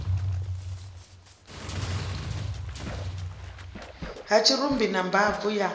ha tshirumbi na mbabvu ya